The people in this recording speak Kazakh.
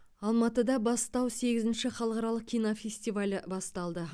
алматыда бастау сегізінші халықаралық кинофестивалі басталды